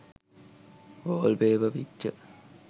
wallpaper picture